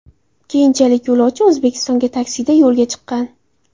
Keyinchalik yo‘lovchi O‘zbekistonga taksida yo‘lga chiqqan .